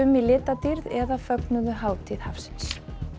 í litadýrð eða fögnuðu hátíð hafsins